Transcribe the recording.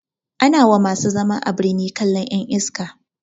Ana wa masu zama a birni kallan ƴan iska